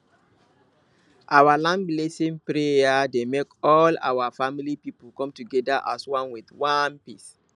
our land blessing prayer dey make all our family people come together as one with peace